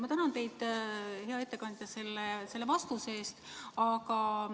Ma tänan teid, hea ettekandja, selle vastuse eest!